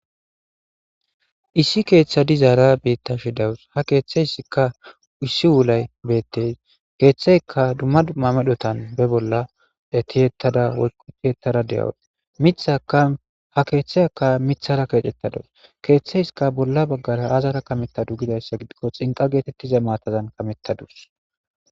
issi keeththadi zaara beitta shi dawus ha keeththeyssikka ussi wulay beetteys keeththeyka dumma dummamedhotan be bolla etiyettada woyqutiyettara de7awut mithakaha keeththey aka mithara keecettadus keeththeyska bolla baggara azara kamettadu gidayssa gidikko xinqa geetettiza maatazan kamettadus